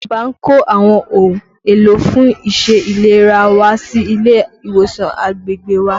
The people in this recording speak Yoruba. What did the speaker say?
Ìjọba kó àwọn ohun èlò fún iṣẹ́ ìlera wá sí ilé ìwòsàn agbègbè wa